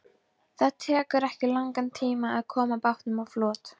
Það tekur ekki langan tíma að koma bátnum á flot.